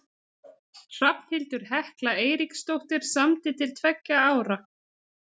Hrafnhildur Hekla Eiríksdóttir samdi til tveggja ára.